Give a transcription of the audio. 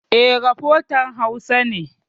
E, rafotan Hausa ne.